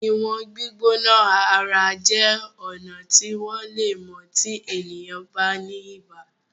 Iwọn gbígbóná ara jé ọnà tí wón lè mọ tí ènìyàn ba ní ibà.